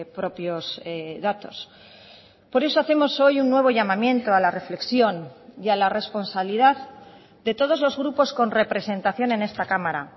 propios datos por eso hacemos hoy un nuevo llamamiento a la reflexión y a la responsabilidad de todos los grupos con representación en esta cámara